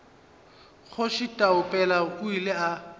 kgoši taupela o ile a